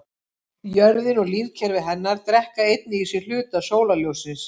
Jörðin og lífkerfi hennar drekka einnig í sig hluta sólarljóssins.